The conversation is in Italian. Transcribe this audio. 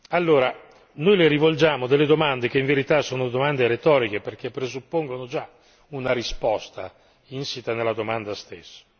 Allora, noi le rivolgiamo delle domande che in verità sono domande retoriche, perché presuppongono già una risposta insita nella domanda stessa.